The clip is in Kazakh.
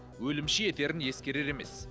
өлімші етерін ескерер емес